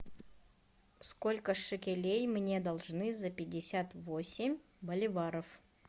сколько шекелей мне должны за пятьдесят восемь боливаров